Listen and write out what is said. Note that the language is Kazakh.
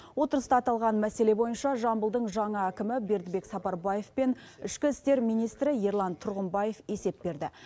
отырыста аталған мәселе бойынша жамбылдың жаңа әкімі бердібек сапарбаев пен ішкі істер министрі ерлан тұрғымбаев есеп берді